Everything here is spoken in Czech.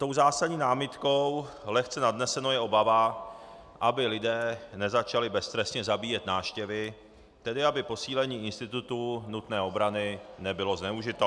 Tou zásadní námitkou, lehce nadnesenou, je obava, aby lidé nezačali beztrestně zabíjet návštěvy, tedy aby posílení institutu nutné obrany nebylo zneužito.